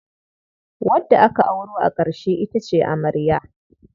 Wadda aka auro a ƙarshe ita ce amarya.